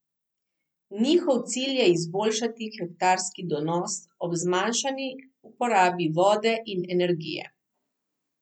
Njihov cilj je izboljšati hektarski donos ob zmanjšani uporabe vode in energije.